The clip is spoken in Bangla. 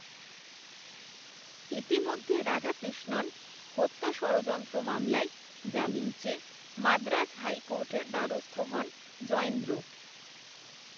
ইতিমধ্যে রাধাকৃষ্ণন হত্যা ষড়যন্ত্র মামলায়, জামিন চেয়ে মাদ্রাজ হাইকোর্টের দ্বারস্থ হন, জয়েন্দ্র